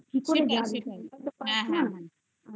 ping